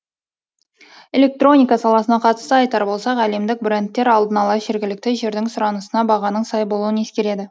электроника саласына қатысты айтар болсақ әлемдік брендтер алдын ала жергілікті жердің сұранысына бағаның сай болуын ескереді